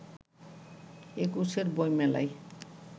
একুশের বইমেলায়